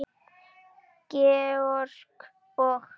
Georg og